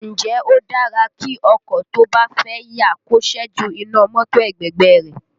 Ǹjẹ́ ó dára kí ọkọ tó bá fẹ́ yà kó ṣẹ́jú iná mọ́tò ẹ̀gbẹ̀gbẹ́ ẹ rẹ̀?